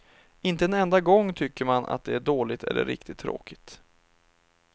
Inte en enda gång tycker man att det är dåligt eller riktigt tråkigt.